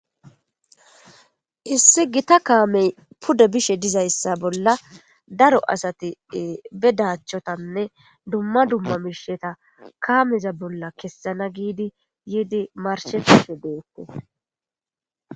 Issi gita kaamey pudda bishe dizayssa bolla daro asati bedachchotanne dumma dumma miisheta kaameza bolla kessana giidi yiidi marshefishe dookko